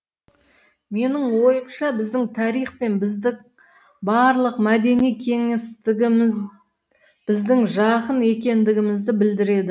менің ойымша біздің тарих пен біздің барлық мәдени кеңістігіміз біздің жақын екендігімізді білдіреді